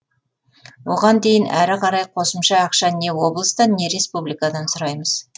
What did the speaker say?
оған кейін әрі қарай қосымша ақша не облыстан не республикадан сұраймыз